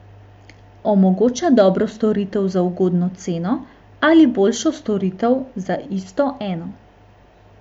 Omogoča dobro storitev za ugodno ceno ali boljšo storitev za isto eno.